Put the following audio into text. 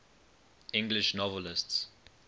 english novelists